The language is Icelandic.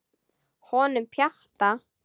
Honum Pjatta?